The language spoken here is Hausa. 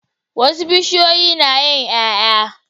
Wasu bishiyoyi nayin yaya